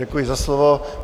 Děkuji za slovo.